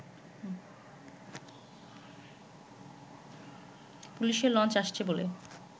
পুলিশের লঞ্চ আসছে বলে